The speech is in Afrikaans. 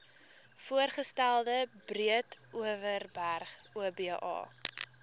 voorgestelde breedeoverberg oba